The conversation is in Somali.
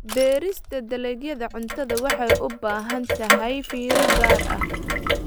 Beerista dalagyada cuntada waxay u baahan tahay fiiro gaar ah.